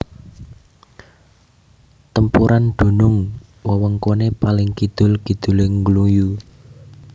Tempuran dunung wewengkone paling kidul kidule Ngluyu